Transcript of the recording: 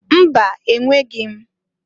Mba! Enweghi m.